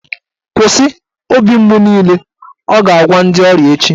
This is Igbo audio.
"Kwụsị, obi mgbu niile" Ọ ga-agwa ndị ọrịa echi